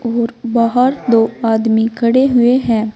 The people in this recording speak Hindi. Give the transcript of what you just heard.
और बाहर दो आदमी खड़े हुए हैं।